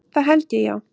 Það held ég, já.